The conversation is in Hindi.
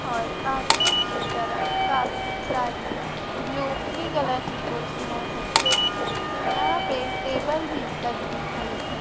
और आगे की तरफ काफी सारी ब्लू नीली कलर की कुर्सियां हैं यहां पे टेबल भी लगी हुई है।